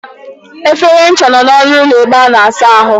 Efere ncha nọ n'ọnụ ụlọ ebe a na-asa ahụ.